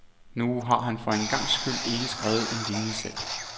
Nu har han for en gangs skyld ikke skrevet en linie selv.